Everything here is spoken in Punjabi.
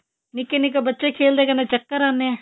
ਨਿੱਕੇ ਨਿੱਕੇ ਬੱਚੇ ਖੇਲਦੇ ਕਹਿੰਦੇ ਚੱਕਰ ਆਨੇ ਆ